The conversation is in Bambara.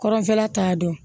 Kɔrɔnfɛla t'a dɔn